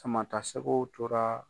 Sama ta sɛgɛw tora.